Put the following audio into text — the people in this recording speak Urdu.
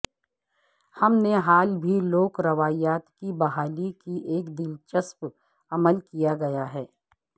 ہم نے حال بھی لوک روایات کی بحالی کے ایک دلچسپ عمل کیا گیا ہے